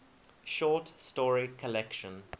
short story collection